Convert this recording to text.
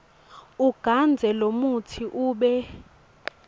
ugandze lomutsi ube